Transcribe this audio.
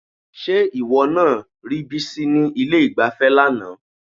Ṣé ìwọ náà rí Bísí ní ilé-ìgbafẹ́ lánàá?